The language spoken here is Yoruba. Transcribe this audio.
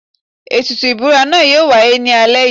Ètùtù ìbúra náà yóò wáyé ní alẹ́ yìí.